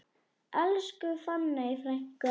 Elsku fanney frænka.